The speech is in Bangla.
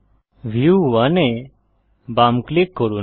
ভিউ 1 এ বাম ক্লিক করুন